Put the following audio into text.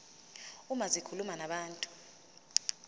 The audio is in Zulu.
uma zikhuluma nabantu